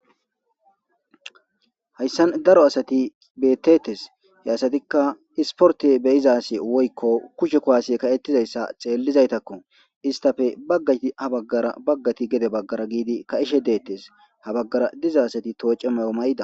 Haysan daro asati betetes he asatika isporte be'iza asi woyko kushe kuwase ka'etizaysa xelidazatakko istape bagati ha bagara bagati gede bagara gididi ka'ishe de'etese ha bagara diza asati dhoc'e mayo mayada.